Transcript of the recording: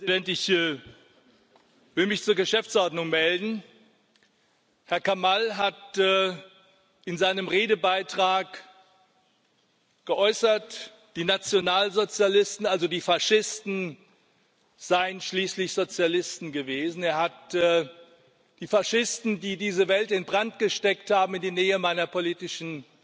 Herr Präsident! Ich will mich zur Geschäftsordnung melden. Herr Kamall hat in seinem Redebeitrag geäußert, die Nationalsozialisten also die Faschisten seien schließlich Sozialisten gewesen. Er hat die Faschisten, die diese Welt in Brand gesteckt haben, in die Nähe meiner politischen